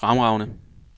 fremragende